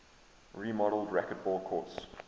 remodeled racquetball courts